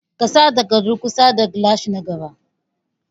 Ka sa takardu kusa da gilashi na gaba.